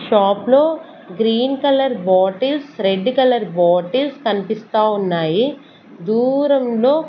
shop లో green colour bottles red colour bottles కనిపిస్తావున్నాయి దూరం లో--